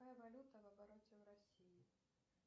какая валюта в обороте в россии